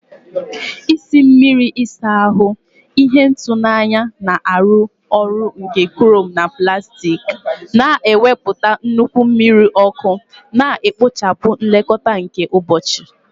Isi mmiri ịsa ahụ, ihe ịtụnanya na-arụ ọrụ nke chrome na plastik, na-ewepụta nnukwu mmiri ọkụ, na-ekpochapụ nlekọta nke ụbọchị.